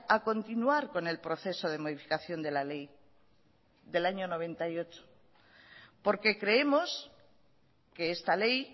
a continuar con el proceso de modificación de la ley del año noventa y ocho porque creemos que esta ley